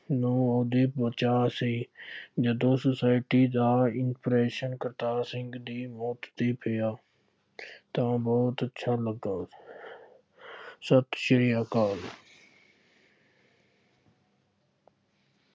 ਨੂੰ ਉਹਦੇ ਹੀ ਵੱਜਣਾ ਸੀ। ਜਦੋਂ society ਦਾ impression ਕਰਤਾਰ ਸਿੰਘ ਦੀ ਮੌਤ ਤੇ ਪਿਆ ਤਾਂ ਬਹੁਤ ਅੱਛਾ ਲੱਗਾ। ਸਤਿ ਸ਼੍ਰੀ ਅਕਾਲ